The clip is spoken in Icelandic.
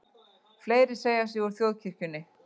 Fleiri segja sig úr þjóðkirkjunni